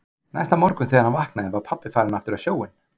Næsta morgun þegar hann vaknaði var pabbi farinn aftur á sjóinn.